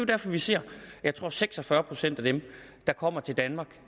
derfor vi ser at jeg tror seks og fyrre procent af dem der kommer til danmark